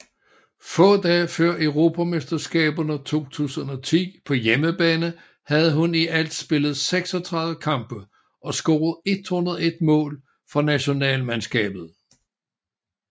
Få dage før Europamesterskaberne 2010 på hjemmebane havde hun i alt spillet 36 kampe og scoret 101 mål for nationalmandskabet